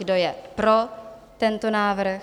Kdo je pro tento návrh?